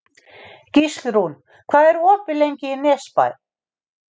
Gíslrún, hvað er opið lengi í Nesbæ?